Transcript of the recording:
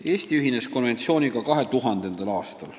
Eesti ühines konventsiooniga 2000. aastal.